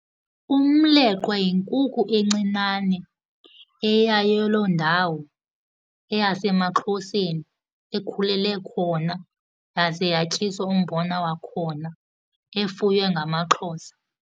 Umleqwa yinkukhu encinane eyayo loo ndawo, eyasemaXhoseni, ekhulele khona yaze yatyiswa umbona wakhona, efuywe ngamaXhosa.